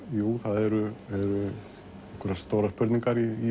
jú það eru einhverjar stórar spurningar í